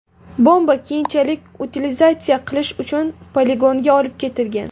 Bomba keyinchalik utilizatsiya qilish uchun poligonga olib ketilgan.